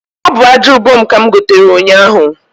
Ọ bụ aja ubom ka m gotere ụnyahu